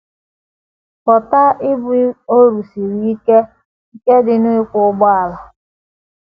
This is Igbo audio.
Ghọta ibu ọrụ siri ike nke dị n’ịkwọ ụgbọala.